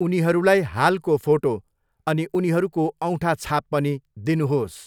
उनीहरूलाई हालको फोटो अनि उनीहरूको औँठाछाप पनि दिनुहोस्।